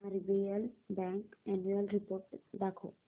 RBL bank annual report दाखव